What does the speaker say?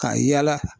Ka yala